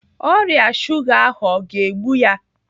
Ọrịa shuga ahụ o ga-egbu ya?